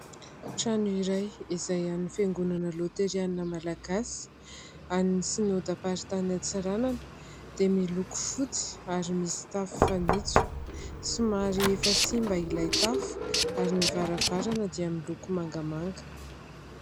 Trano iray izay an'ny fiangonana loterana malagasy, an'ny synodam-paritany antsiranana, dia miloko fotsy ary misy tafo fanitso. Somary efa simba ilay tafo ary ny varavarana dia miloko mangamanga.